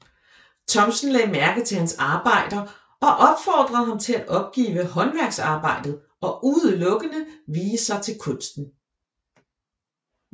Thomsen lagde mærke til hans arbejder og opfordrede ham til at opgive håndværksarbejdet og udelukkende vie sig til kunsten